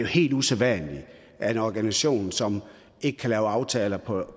helt usædvanligt at en organisation som ikke kan lave aftaler på